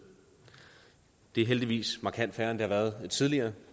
det er heldigvis markant færre end det har været tidligere